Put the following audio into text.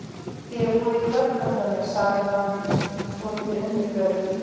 Þér er boðið í kvöldmat hjá mér, sagði hann svolítið undirförull.